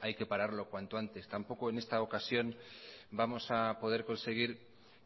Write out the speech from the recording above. hay que pararlo cuanto antes tampoco en esta ocasión vamos a poder conseguir